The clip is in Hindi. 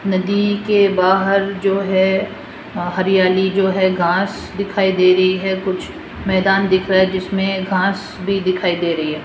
नदी के बाहर जो है हरियाली जो है घास दिखाई दे रही है कुछ मैदान दिख रहा है जिसमें घास भी दिखाई दे रही है।